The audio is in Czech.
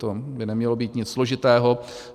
To by nemělo být nic složitého.